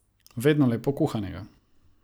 Vedno lepo kuhanega.